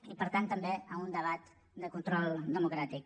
i per tant també a un debat de control democràtic